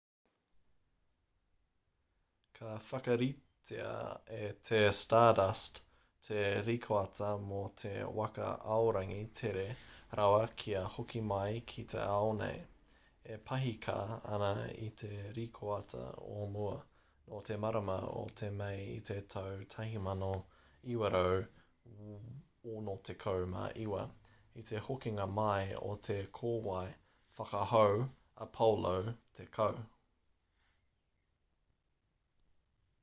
ka whakaritea e te stardust te rikoata mō te waka aorangi tere rawa kia hoki mai ki te ao nei e pahika ana i te rikoata o mua nō te marama o mei i te tau 1969 i te hokinga mai o te kōwae whakahau apollo x